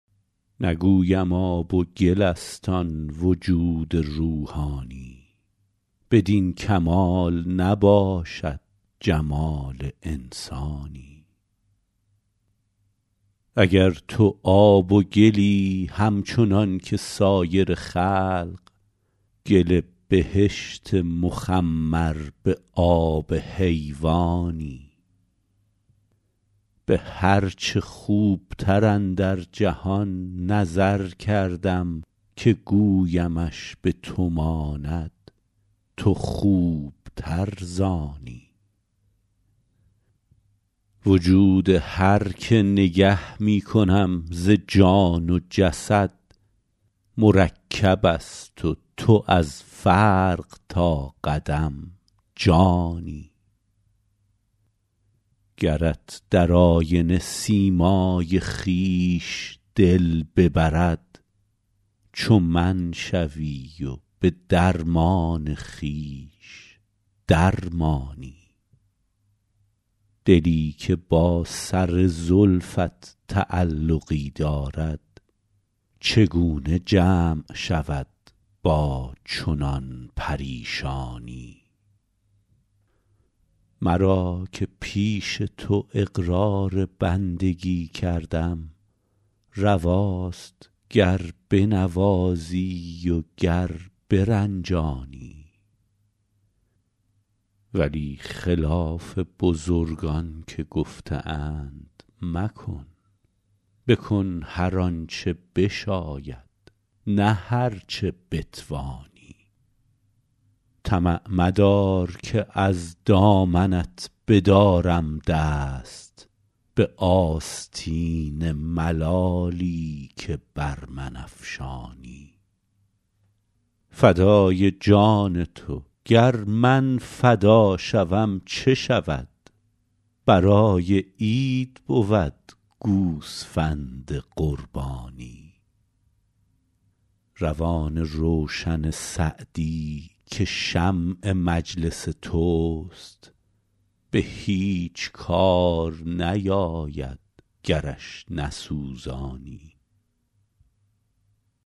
نگویم آب و گل است آن وجود روحانی بدین کمال نباشد جمال انسانی اگر تو آب و گلی همچنان که سایر خلق گل بهشت مخمر به آب حیوانی به هر چه خوبتر اندر جهان نظر کردم که گویمش به تو ماند تو خوبتر ز آنی وجود هر که نگه می کنم ز جان و جسد مرکب است و تو از فرق تا قدم جانی گرت در آینه سیمای خویش دل ببرد چو من شوی و به درمان خویش در مانی دلی که با سر زلفت تعلقی دارد چگونه جمع شود با چنان پریشانی مرا که پیش تو اقرار بندگی کردم رواست گر بنوازی و گر برنجانی ولی خلاف بزرگان که گفته اند مکن بکن هر آن چه بشاید نه هر چه بتوانی طمع مدار که از دامنت بدارم دست به آستین ملالی که بر من افشانی فدای جان تو گر من فدا شوم چه شود برای عید بود گوسفند قربانی روان روشن سعدی که شمع مجلس توست به هیچ کار نیاید گرش نسوزانی